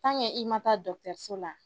i ma taa dɔgɔtɔrɔso la